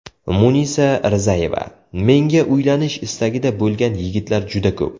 Munisa Rizayeva: Menga uylanish istagida bo‘lgan yigitlar juda ko‘p.